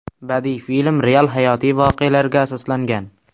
Badiiy film real hayotiy voqealarga asoslangan.